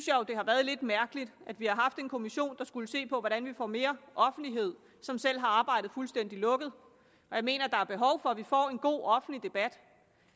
jo det har været lidt mærkeligt at vi har haft en kommission der skulle se på hvordan vi får mere offentlighed som selv har arbejdet fuldstændig lukket jeg mener der er behov for at vi får en god offentlig debat